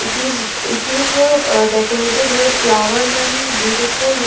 it is it is decorated with flowers and beautiful--